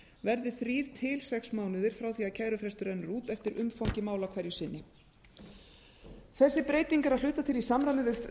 verði þrír til sex mánuðir frá því að kærufrestur rennur út eftir umfangi mála hverju sinni þessi breyting er að hluta til í samræmi við